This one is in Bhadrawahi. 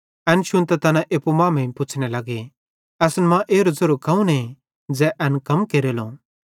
एन शुन्तां तैना एप्पू मांमेइं पुच्छ़ने लगे असन मां एरो ज़ेरो कौने ज़ै एन कम केरेलो